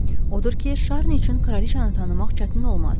Odur ki, Şarni üçün kraliçanı tanımaq çətin olmazdı.